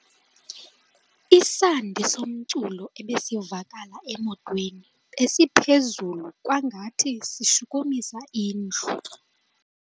Isandi somculo ebesivakala emotweni besiphezulu kwangathi sishukumisa indlu.